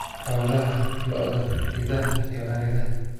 "Xoolaha - Lo'da, Idaha iyo Ariga."